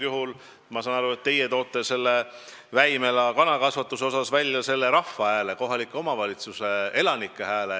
Praegu ma saan aru, et teie toote selle Väimela kanakasvanduse puhul välja rahva hääle, kohaliku omavalitsuse elanike hääle.